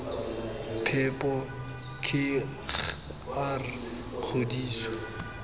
phepo k g r kgodiso